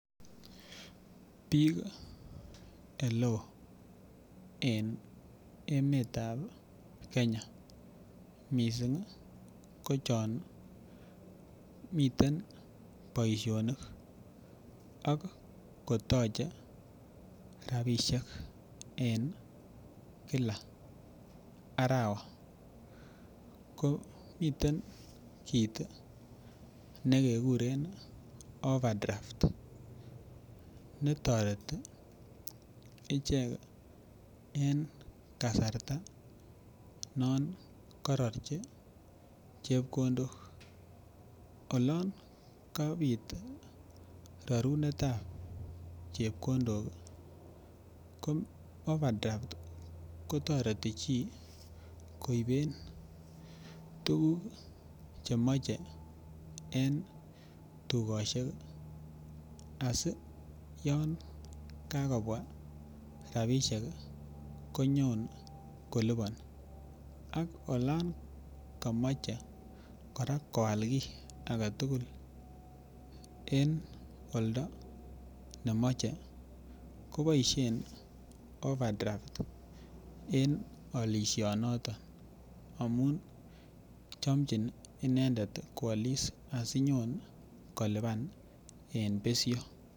Bik eleo en emetab Kenya missing ko chon miten boishonik ak kotoche rabishek en Kila arawa ko miten kit nekekurem overdraft netoreti icheket en kasarta non kororchi chepkondok. Olon kapit rorunetab chepkondok ko overdraft kotoreti chii koiben tukuk chemoche en tukoshek asi yon Kakobwa rabishek Kenyon koliboni Al olon komoche koraa ko Al kii agetutuk en oldo nemoche kiboishen overdraft en olishonoton amun chomchin inendet kwolis asinyon kolipan en besho.